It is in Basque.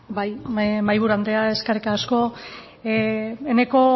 bai mahaiburu andrea eskerrik asko eneko